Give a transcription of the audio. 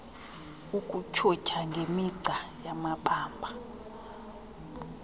ukutyhutyha ngemigca yamabamba